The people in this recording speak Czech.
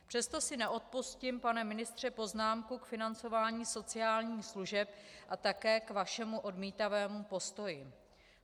Přesto si neodpustím, pane ministře, poznámku k financování sociálních služeb a také k vašemu odmítavému postoji.